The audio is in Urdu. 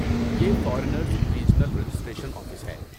یہ فارنرز ریجنل ریجسٹریشن آفس ہے۔